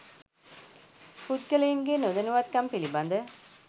පුද්ගලයින්ගේ නොදැනුවත්කම් පිලිබඳ